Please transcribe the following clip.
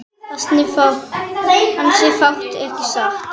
Ansi fátt ekki satt?